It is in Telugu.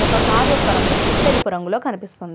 ఒక కారు యొక్క రంగు తెలుపు రంగులో కనిపిస్తుంది.